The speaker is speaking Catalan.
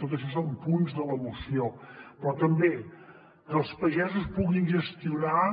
tot això són punts de la moció però també que els pagesos puguin gestionar